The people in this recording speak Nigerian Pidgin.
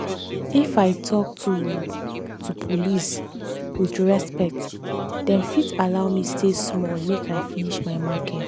if i talk to to police with respect dem fit allow me stay small make i finish my market.